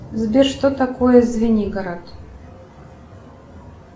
сбер что такое звенигород